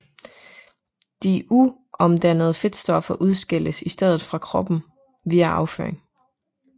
De uomdannede fedtstoffer udskilles i stedet fra kroppen via afføring